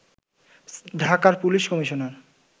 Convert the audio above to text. ঢাকার police commissioner